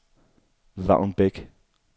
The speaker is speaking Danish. Vagn Beck